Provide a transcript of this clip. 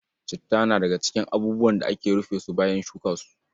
Citta na daga cikin abubuwan da ake rufe su bayan shuka su.